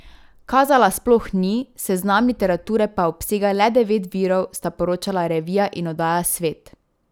Kazala sploh ni, seznam literature pa obsega le devet virov, sta poročala revija in oddaja Svet.